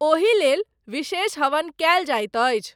ओही लेल, विशेष हवन कयल जाइत अछि।